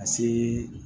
Ka see